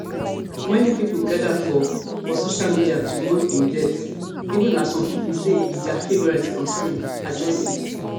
many pipo gada for for social media to mourn im death even as some pipo say e be dia favorite on screen adjussi